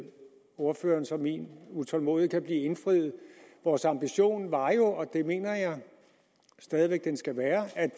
ordførerens og min utålmodighed indfriet vores ambition var jo og det mener jeg stadig væk den skal være at